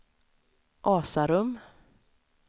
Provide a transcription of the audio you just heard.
Asarum